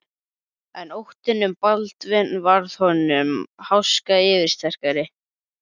En óttinn um Baldvin varð öllum háska yfirsterkari.